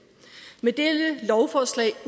med dette lovforslag